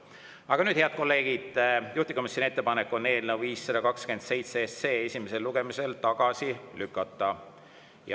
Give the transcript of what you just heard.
Aga nüüd, head kolleegid, juhtivkomisjoni ettepanek on eelnõu 527 esimesel lugemisel tagasi lükata.